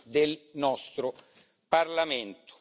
del nostro Parlamento.